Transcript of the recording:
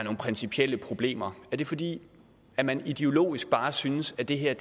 principielle problemer er det fordi man man ideologisk bare synes at det her